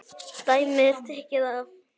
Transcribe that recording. Dæmi er tekið af